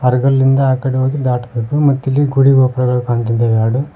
ಹಡಗಲ್ಲಿಂದ ಆಕಡೆ ಹೋಗಿ ದಾಟ್ಬೇಕು ಮತ್ತಿಲ್ಲಿ ಗುಡಿ ಗೋಪುರಗಳು ಕಾಣ್ತಿದೆ ಎರಡು.